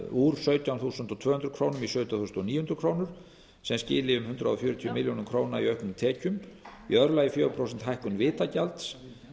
úr sautján þúsund tvö hundruð krónur í sautján þúsund níu hundruð krónur sem skili um hundrað fjörutíu milljónir króna í auknum tekjum í öðru lagi fjögurra prósenta hækkun vitagjalds